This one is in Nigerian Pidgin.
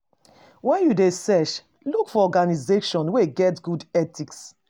When you dey search, look for organization wey get good ethics